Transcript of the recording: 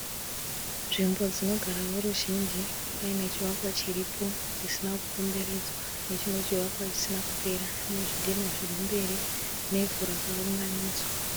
Nzvimbo dzinogara veruzhinji, paine chivakwa chiripo chisina kukomberedzwa nechimwe chivakwa chisina kupera, nezvidhina zviri mberi, nevhu rakaunganidzwa.